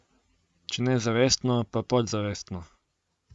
Če ne zavestno, pa podzavestno.